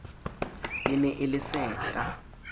e ne e le sehla